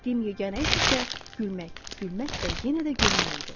Etdiyim yeganə iş isə gülmək, gülmək və yenə də gülmək idi.